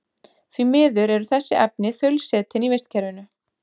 Því miður eru þessi efni þaulsetin í vistkerfinu.